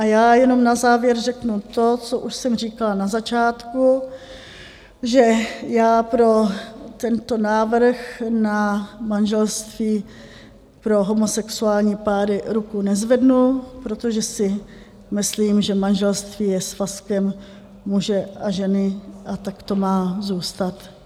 A já jenom na závěr řeknu to, co už jsem říkala na začátku, že já pro tento návrh na manželství pro homosexuální páry ruku nezvednu, protože si myslím, že manželství je svazkem muže a ženy a tak to má zůstat.